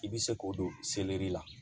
I bɛ se k'o don la